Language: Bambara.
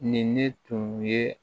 Nin ne tun ye